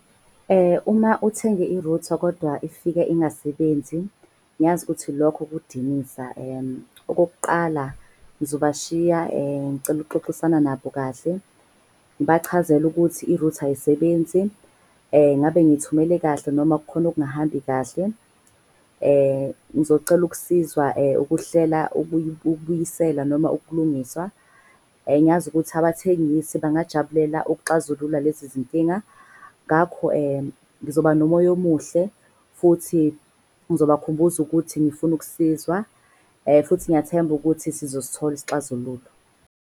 Uma uthenge i-router kodwa ifike ingasebenzi, ngiyazi ukuthi lokho kudinisa. Okokuqala, ngizobashiya ngicela ukuxoxisana nabo kahle. Ngibachazele ukuthi i-router ayisebenzi, ngabe nithumele kahle noma kukhona okungahambi kahle. Ngizocela ukusizwa ukuhlela ukuyibuyisela noma ukulungiswa. Ngiyazi ukuthi abathengisi bangajabulela ukuxazulula lezi zinkinga ngakho ngizoba nomoya omuhle. Futhi ngizobakhumbuza ukuthi ngifuna ukusizwa . Futhi ngiyathemba ukuthi sizosithola isixazululo.